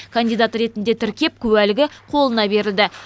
кандидат ретінде тіркеп куәлігі қолына берілді